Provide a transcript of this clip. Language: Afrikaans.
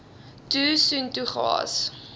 toe soontoe gehaas